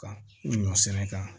Ka ɲɔ sɛnɛ kan